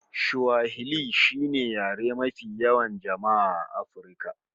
Swahili shine yare mafi yawan jama'a A afirka